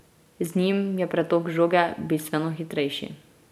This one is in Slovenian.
Z njim je pretok žoge bistveno hitrejši.